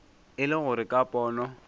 e le gore ka pono